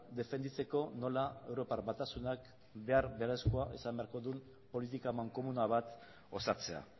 defenditzeko nola europar batasunak behar beharrezkoa izan beharko duen politika amankomuna bat osatzea